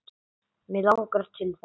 Mig langar til þess.